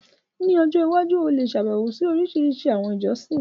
Ní ọjọ́ iwájú, o lè ṣàbẹ̀wo sí orísìírísìí àwọn ilé ìjọsìn.